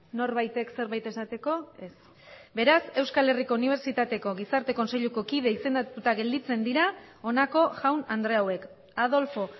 norbaitek zerbait esateko ez beraz euskal herriko unibertsitateko gizarte kontseiluko kide izendatuta gelditzen dira honako jaun andre hauek adolfo